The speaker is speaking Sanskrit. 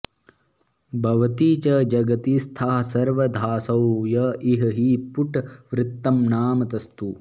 भवति च जगतीस्थः सर्वदासौ य इह हि पुटवृत्तं नामतस्तु